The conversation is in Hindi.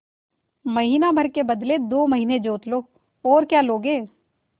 महीना भर के बदले दो महीना जोत लो और क्या लोगे